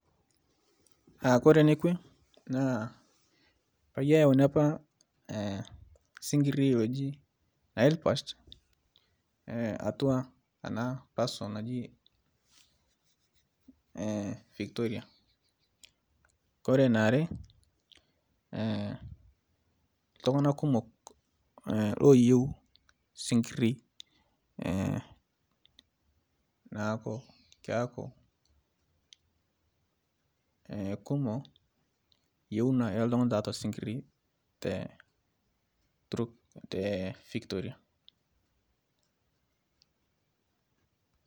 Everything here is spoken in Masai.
Aa kore nekwe naa peyie eyauni apa sinkirii oji nilepatch atua ena aiposha naji Victoria kore niare tung'anak kumok looyiu sikirii neaku keaku kumok yiuna oo ltung'anak tiatua sikirii te Victoria